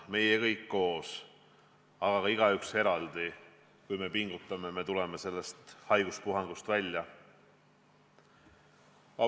Meie kõik koos, aga ka igaüks eraldi – kui pingutame, siis tuleme sellest haiguspuhangust välja.